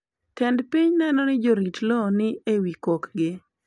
Tend piny neno ni jorit lowo ni ewi kokgi.